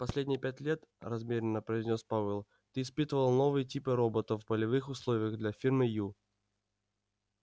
последние пять лет размеренно произнёс пауэлл ты испытывал новые типы роботов в полевых условиях для фирмы ю